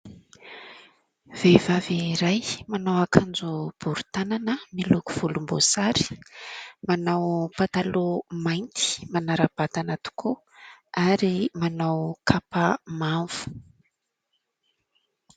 Vehivavy iray : manao akanjo bory tanana miloko volomboasary, manao pataloha mainty manara-batana tokoa ary manao kapa mavo.